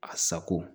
A sago